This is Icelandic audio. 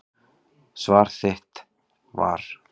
Svar þitt var.